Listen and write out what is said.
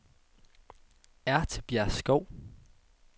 Ertebjergskov